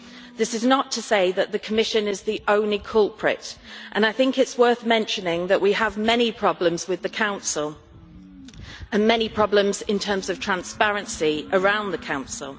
This is not to say that the Commission is the only culprit, and I think it is worth mentioning that we have many problems with the Council, and many problems in terms of transparency around the Council.